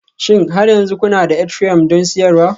Shin har yanzu kuna da Ethereumi don siyarwa?